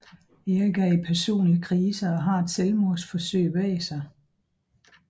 Erik er i personlig krise og har et selvmordsforsøg bag sig